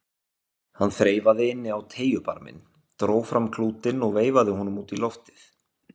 Hann þreifaði inn á treyjubarminn, dró fram klútinn og veifaði honum út í loftið.